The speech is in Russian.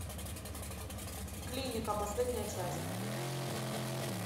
клиника последняя часть